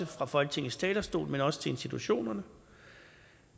fra folketingets talerstol men også institutionerne